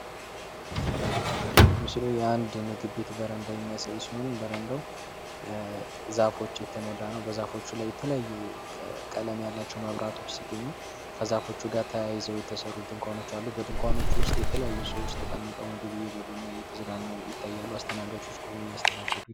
ምስሉ የአንድ ምግብ ቤት በረንዳ የሚያሳይ ሲሆን፤ በረንዳው ዛፎች የተሞላ ነው። በዛፎቹ ላይ የተለያዩ ቀለም ያላቸው መብራቶች ሲገኙ፤ ከዛፎቹ ጋር ተያይዘው የተሠሩ ድንኳኖች አሉ። በድንኳኖቹ ውስጥ የተለያዩ ሰዎች ተቀምጠው ምግብ እየበሉ እና እየተዝናኑ ይታያሉ። አስተናጋቾች ቆመው እያስተናገዱ ...